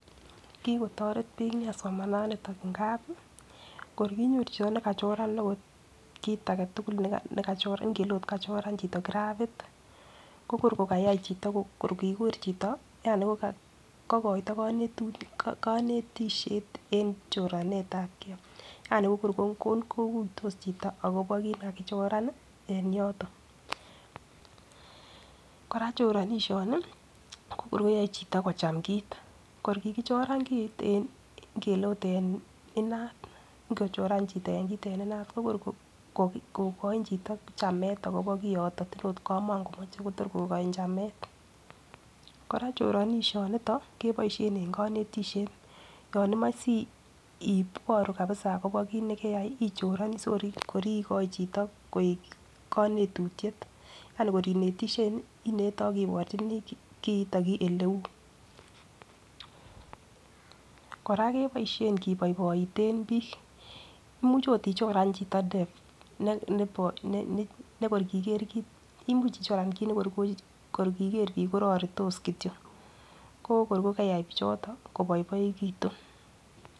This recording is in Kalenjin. Kiko toreti bik nia somananiton ngapi kor konyoru chito nekachoran ot kit agetukul nekachoran ingele ot kachoran chito grapit ko kor ko kayai chito kor kikur chito yani ko kokoito konetutik konetishet en choranetabgee yani ko kor kokuitos chito akobo kit nekikichoran nii en yoton. Koraa choronishoni koyoe chito kocham kit, kor kikichoran kit ingele ot en inat kochora chito kit en inat ko kor ko kokoin chito chamet akobo kiiton matin ot komo komoche Kotor kokoin chamet. Koraa choronishonito keboishen en konetishet, yon imoi si iboru kabisa akobo kit nekeyai ichoroni sikor kor ikoi chito koik konetutyet yani kor inetishei inete ak iwochenii kiiton eleu. Koraa keboishen kiboiboiten bik imuch ot ichoran chito ne nebo nekor kiger kit imuch ichoran kit ne kor kiker bik kororotos kityok ko kor keriyai bichoton koboiboekitun.